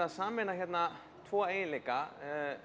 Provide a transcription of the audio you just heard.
að sameina tvo eiginleika